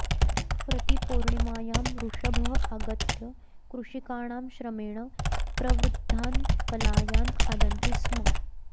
प्रति पौर्णिमायां वृषभः आगत्य कृषिकाणां श्रमेण प्रवृद्धान् कलायान् खादन्ति स्म